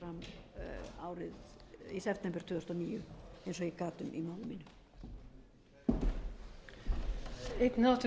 hér fram í september tvö þúsund og níu eins og ég gat um í máli mínu